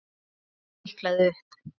Ég stikaði upp